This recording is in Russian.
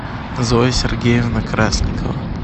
зоя сергеевна красникова